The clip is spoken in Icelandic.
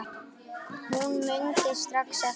Hún mundi strax eftir